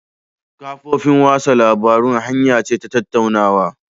Kafofin watsa labarun hanya ce ta tattaunawa